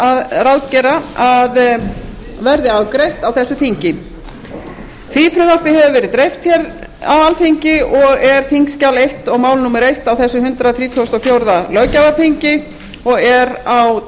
og ráðgera að verði afgreitt á þessu þingi því frumvarpi hefur verið dreift á alþingi og er þingskjal eins og mál númer eitt á þessu hundrað þrítugasta og fjórða löggjafarþingi og er á